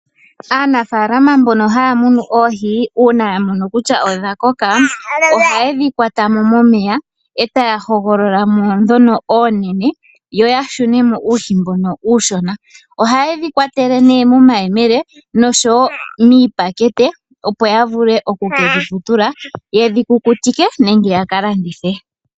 Aanafaalama mbono haya munu oohi, uuna ya mono kutya odha koka ohaye dhi kwata mo momeya etaa hogolola mo ndhono oonene yo ya shune mo uuhi mbono uushona. Ohaye dhi kwatele nee momayemele noshowo wo miipakete opo ya vule oku ke dhi vutula, ye dhi kukutike nenge ya ka landithe.